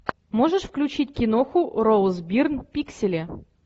можешь включить киноху роуз бирн пиксели